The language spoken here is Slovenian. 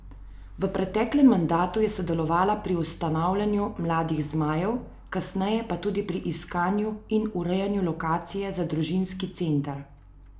V preteklem mandatu je sodelovala pri ustanavljanju Mladih zmajev, kasneje pa tudi pri iskanju in urejanju lokacije za družinski center.